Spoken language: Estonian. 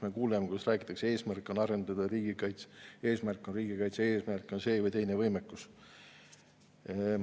Me kuuleme, kuidas räägitakse, et eesmärk on arendada riigikaitset, eesmärk on see või teine võimekus.